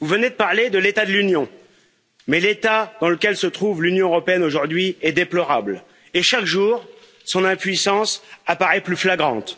Vous venez de parler de l'état de l'Union, mais l'état dans lequel se trouve l'Union européenne aujourd'hui est déplorable et, chaque jour, son impuissance apparaît plus flagrante.